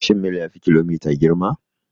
Shin mil ya fi kilomita girma?